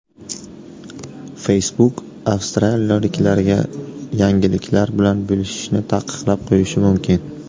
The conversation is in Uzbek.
Facebook avstraliyaliklarga yangiliklar bilan bo‘lishishni taqiqlab qo‘yishi mumkin.